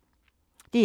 DR1